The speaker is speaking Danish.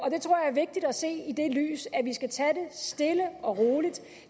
vigtigt at se det i det lys at vi skal tage det stille og roligt